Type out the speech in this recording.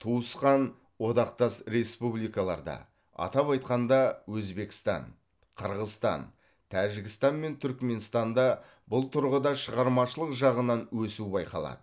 туысқан одақтас республикаларда атап айтқанда өзбекстан қырғызстан тәжікстан мен түркіменстанда бұл тұрғыда шығармашылық жағынан өсу байқалады